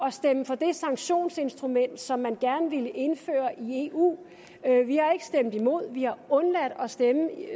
at stemme for det sanktionsinstrument som man gerne ville indføre i eu vi har ikke stemt imod vi har undladt at stemme